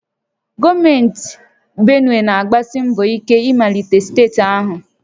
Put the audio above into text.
Gọọmenti Benue na-agbasi mbọ ike imelite steeti ahụ